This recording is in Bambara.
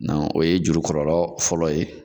o ye juru kɔlɔlɔ fɔlɔ ye.